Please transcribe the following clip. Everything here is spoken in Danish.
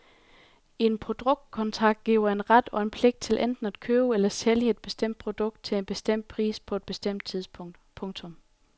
En produktkontrakt giver en ret og en pligt til enten at købe eller sælge et bestemt produkt til en bestemt pris på et bestemt tidspunkt. punktum